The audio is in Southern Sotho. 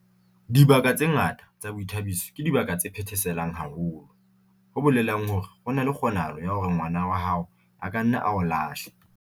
Dibaka tse ngata tsa boithabiso ke dibaka tse phetheselang haholo, ho bolelang hore ho na le kgonahalo ya hore ngwana wa hao a ka nna a o lahle